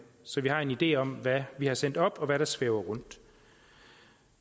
så vi har en idé om hvad vi har sendt op og hvad der svæver rundt